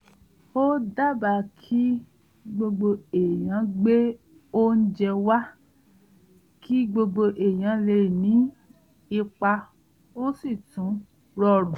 ó dábàá kí gbogbo ènìyàn gbé óúnjẹ wa kí gbogbo ènìyàn lè ní ipa ó sì tún rọrun